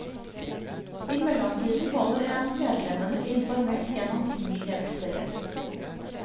I mellomtiden holder en medlemmene informert gjennom nyhetsbrev.